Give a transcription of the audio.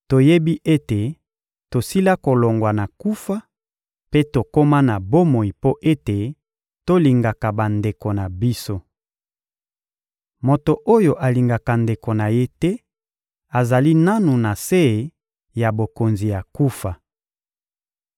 Toyebi ete tosila kolongwa na kufa mpe tokoma na bomoi mpo ete tolingaka bandeko na biso. Moto oyo alingaka ndeko na ye te azali nanu na se ya bokonzi ya kufa.